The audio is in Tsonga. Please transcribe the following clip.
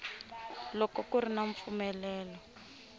loko ku ri na mpfumelelo